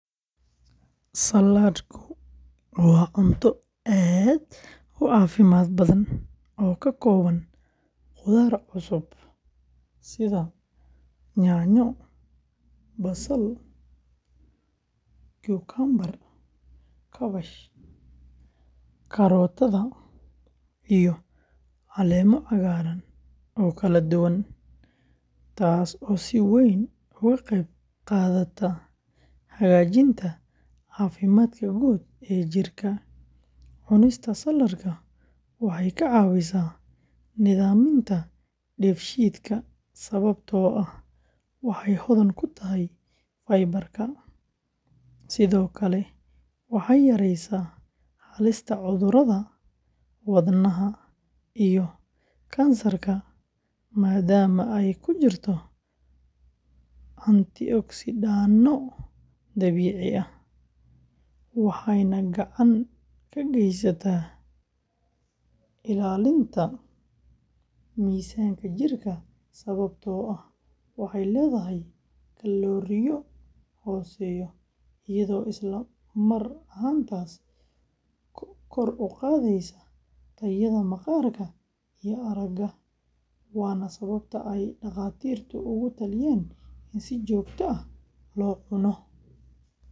Saladku wa cuunta aad u cafimad badan o kaoban qumbo cusub sida Yanyo, Basal, Cumcumber kabash, karootada iyo caleema cagaraan o kala duwan. Taas o si weyn ugu qeyb qadata hagajinta cafimadka guud e jirka cunista saladka waxay kacawisa nidhaminta deef shidka sababto aah waxay hodan kutahay faibaarka sido kale waxay yareeysa halistada cudurada wadnaha iyo Kansarka maadma ay kujirto Antioxide noo dabiici aah waxayna gacan kageysata ilaalinta misanku jirka sababto ah waxay ledahay kalooriyo hoseeya iyado isla mar ahantas kor uqadeysa tayada maqarka iyo araga wana sababa Daqatirtu ugu taliyan in si jogta ah lo cuuno.